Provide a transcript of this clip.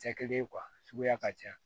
Cɛ kelen suguya ka ca